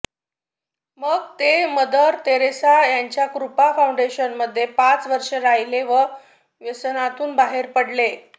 मग ते मदर तेरेसा यांच्या कृपा फाऊंडेशनमध्ये पाच वर्षे राहिले व व्यसनातून बाहेर पडले